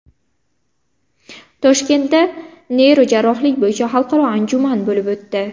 Toshkentda neyrojarrohlik bo‘yicha xalqaro anjuman bo‘lib o‘tdi.